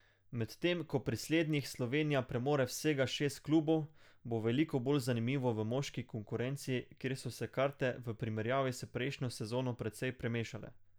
Medtem ko pri slednjih Slovenija premore vsega šest klubov, bo veliko bolj zanimivo v moški konkurenci, kjer so se karte v primerjavi s prejšnjo sezono precej premešale.